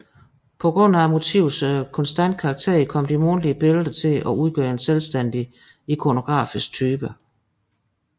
På grund af motivets konstante karakter kom de månedlige billeder til at udgøre en selvstændig ikonografisk type